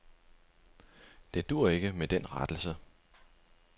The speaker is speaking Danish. Det duer ikke med den rettelse.